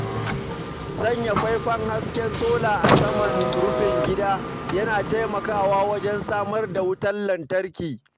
Sanya faifan hasken sola a saman rufin gida yana taimakawa wajen samar da wutar lantarki.